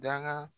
Daga